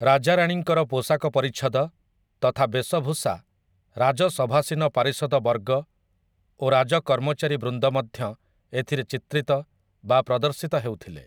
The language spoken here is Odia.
ରାଜାରାଣୀଙ୍କର ପୋଷାକ ପରିଚ୍ଛଦ ତଥା ବେଶଭୂଷା ରାଜସଭାସୀନ ପାରିଷଦ ବର୍ଗ ଓ ରାଜ କର୍ମଚାରୀ ବୃନ୍ଦ ମଧ୍ୟ ଏଥିରେ ଚିତ୍ରିତ ବା ପ୍ରଦର୍ଶିତ ହେଉଥିଲେ ।